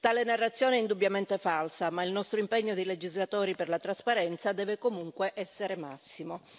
Tale narrazione è indubbiamente falsa, ma il nostro impegno di legislatori per la trasparenza deve comunque essere massimo.